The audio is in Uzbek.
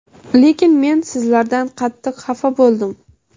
lekin men sizlardan qattiq xafa bo‘ldim.